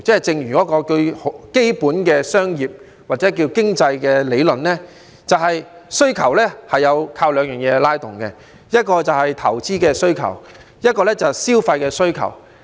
正如基本的商業或經濟理論提出，需求靠兩方面拉動，一是投資需求，一是消費需求。